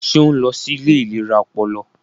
Ṣe o nlọ sí ilé ìlera ọpọlọ?